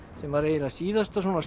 sem var eiginlega síðasta svona